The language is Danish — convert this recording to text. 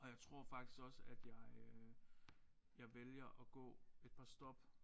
Og jeg tror faktisk også at jeg øh jeg vælger at gå et par stop